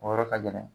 O yɔrɔ ka gɛlɛn